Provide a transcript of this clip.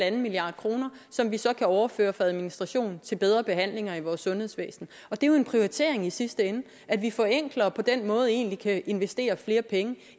en milliard kr som vi så kan overføre fra administration til bedre behandlinger i vores sundhedsvæsen og det er jo en prioritering i sidste ende at vi forenkler og på den måde egentlig kan investere flere penge